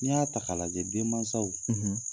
N'i y'a ta ka lajɛ denmasaw